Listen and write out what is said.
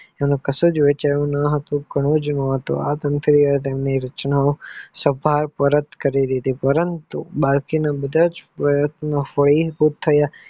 કશુક વહેચાયુ નહતું ઘણીજ મહત્વ ની રચનાઓ સફળતાઓ પરત કરી દીધીન પરંતુ બાકી ના બધા પર્યન્તનો ફળી ફૂટ થયા.